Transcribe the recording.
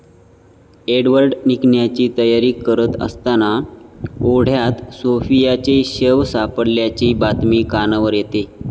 Edward निघण्याची तयारी करत असताना ओढ्यात सोफियाचे शव सापडल्याची बातमी कानावर येते.